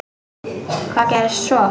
Hvað gerðist svo?